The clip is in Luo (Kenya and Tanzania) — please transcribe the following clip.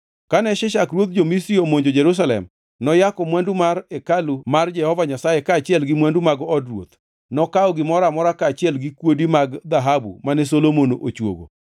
Kane Shishak ruodh jo-Misri omonjo Jerusalem, noyako mwandu hekalu mar Jehova Nyasaye kaachiel gi mwandu mag od ruoth. Nokawo gimoro amora kaachiel gi kuodi mag dhahabu mane Solomon ochuogo.